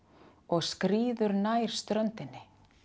og skríður nær ströndinni